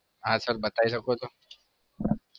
હા sir બતાયી શકો છો.